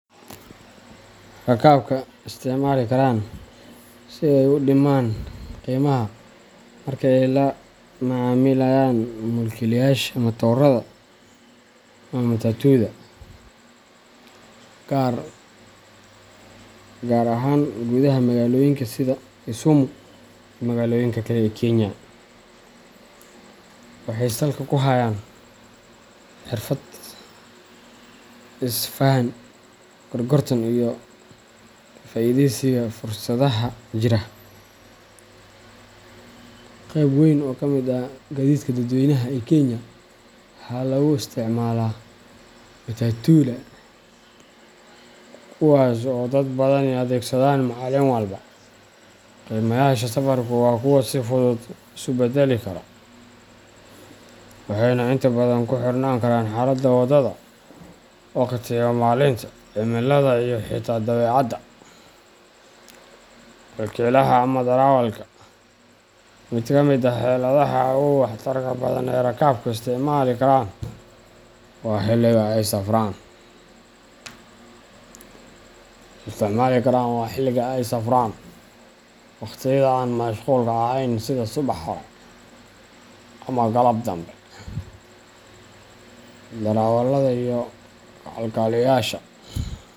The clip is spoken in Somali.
Rakaabka isticmaali karaan si ay u dhimaan qiimaha marka ay la macaamilayaan mulkiilayaasha matoorada ama matatuda, gaar ahaan gudaha magaalooyinka sida Kisumu iyo magaalooyinka kale ee Kenya, waxay salka ku hayaan xirfad is fahan, gorgortan, iyo ka faa'iidaysiga fursadaha jira. Qayb weyn oo ka mid ah gaadiidka dadweynaha ee Kenya waxaa lagu isticmaalaa matatuda, kuwaasoo ay dad badani adeegsadaan maalin walba. Qiimayaasha safarku waa kuwo si fudud isu beddeli kara, waxayna inta badan ku xirnaan karaan xaaladda waddada, waqtiga maalinta, cimilada, iyo xitaa dabeecadda mulkiilaha ama darawalka. Mid ka mid ah heladaha ugu waxtarka badan ee rakaabku isticmaali karaan waa xilliga ay safraan. Wakhtiyada aan mashquulka ahayn sida subax hore ama galab danbe, darawallada iyo kalkaaliyeyaasha.